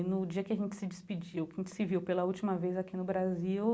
E no dia que a gente se despediu, que a gente se viu pela última vez aqui no Brasil,